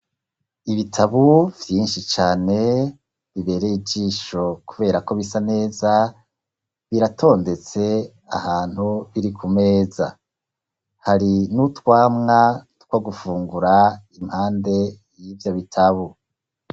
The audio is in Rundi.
Ibitabo vyinshi cane biberey' ijisho kuberako bisa neza, biratondetse ahantu biri kumeza, hari n'utwamwa two gufungura impande y'ivyo bitabo.